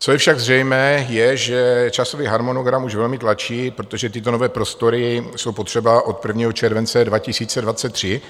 Co je však zřejmé je, že časový harmonogram už velmi tlačí, protože tyto nové prostory jsou potřeba od 1. července 2023